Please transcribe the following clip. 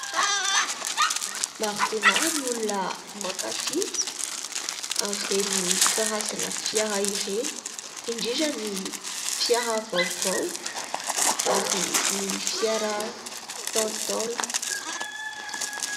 Maro dia maro ny olona mankafy an'ireny karazana fiara ireny, indrindra ny fiara vaovao ary ny fiara ntaolontaolo.